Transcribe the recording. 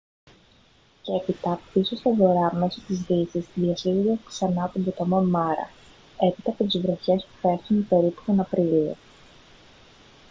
και έπειτα πίσω στον βορρά μέσω της δύσης διασχίζοντας ξανά τον ποταμό μάρα έπειτα από τις βροχές που πέφτουν περίπου τον απρίλιο